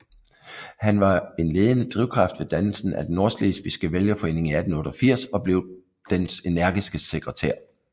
Han var en ledende drivkraft ved dannelsen af den nordslesvigske vælgerforening i 1888 og blev dens energiske sekretær